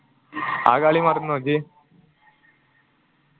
ആ കളി മറന്നോ ഇഞ്ച